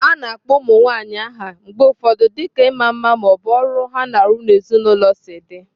A na-akpọ ụmụ nwanyị aha mgbe ụfọdụ dịka ịma mma ma ọ bụ ọrụ ha na-arụ n'ezinụlọ si dị.